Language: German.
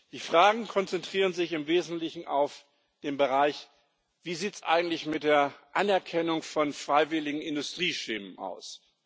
Die Fragen konzentrieren sich im Wesentlichen auf den Bereich Wie sieht es eigentlich mit der Anerkennung von freiwilligen Industrieschemen aus?